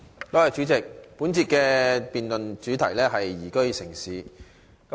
代理主席，本節的辯論主題是"宜居城市"。